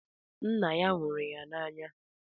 Nna ya nwụrụ n’agha